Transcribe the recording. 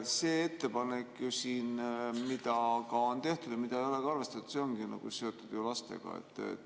See ettepanek siin, mis on tehtud ja mida ei ole arvestatud, ongi ju seotud lastega.